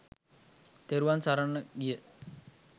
තෙරුවන් සරණ ගිය